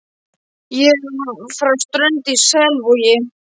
Ég er frá Strönd í Selvogi.